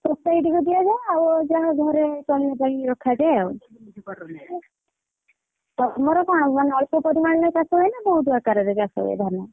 Society କୁ ଦିଆଯାଏ ଆଉ ଯାହା ଘରେ ଚଳିବା ପାଇଁ ରଖାଯାଏ ଆଉ ତମର କଣ ମାନେ ଅଳ୍ପ ପରିମାଣରେ ଚାଷ ହୁଏନା ବହୁତ୍ ଆକାରରେ ଚାଷ ହୁଏ ଧାନ?